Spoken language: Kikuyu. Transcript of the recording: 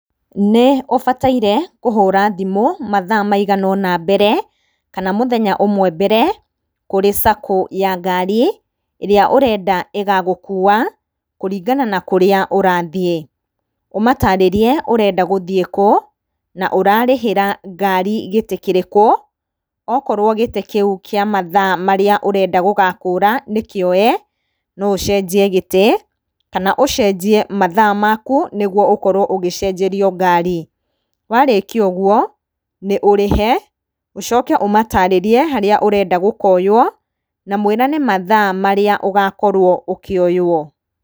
Nĩũbataire kũhũra thimũ mathaa maigana ũna mbere kana mũthenya ũmwe mbere kũrĩ sacco ya ngari ĩrĩa ũrenda ĩgagũkua kũringana na kũrĩa ũrathiĩ. Ũmatarĩrie ũrenda gũthĩĩ kũ, na ũrenda ngari gĩtĩ kĩrĩkũ, akorwo gĩtĩ kĩu kĩa mathaa marĩa ũrenda gũgakũra nĩkĩoe, no ũcenjie gĩtĩ, kana ũcenjie mathaa maku nĩguo ũkorwo ũgĩcenjerio ngari. Warĩkia ũguo nĩ ũrĩhe ũcoke ũmatarĩrie harĩa ũrenda gũkoywo na mwĩrane mathaa marĩa ũgakorwo ũkĩoywo.